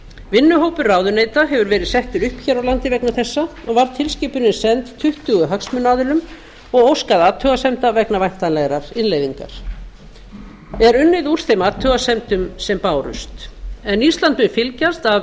vinnuhópur ráðuneyta hefur verið settur upp hér á landi vegna þessa og var tilskipunin send tuttugu hagsmunaaðilum og óskað athugasemda vegna væntanlegrar innleiðingar er unnið úr þeim athugasemdum sem bárust en ísland mun fylgjast af